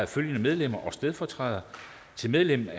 følgende medlemmer og stedfortrædere til medlemmer